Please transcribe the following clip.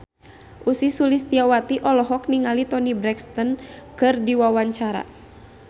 Ussy Sulistyawati olohok ningali Toni Brexton keur diwawancara